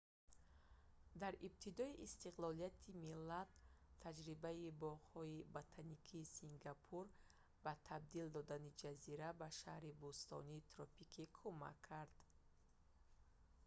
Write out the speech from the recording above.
дар ибтидои истиқлолияти миллат таҷрибаи боғҳои ботаникии сингапур ба табдил додани ҷазира ба шаҳри бӯстонии тропикӣ кумак кард